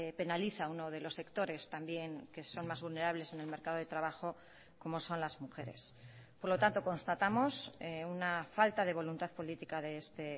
penaliza a uno de los sectores también que son más vulnerables en el mercado de trabajo como son las mujeres por lo tanto constatamos una falta de voluntad política de este